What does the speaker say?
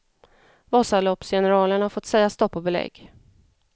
Vasaloppsgeneralen har fått säga stopp och belägg.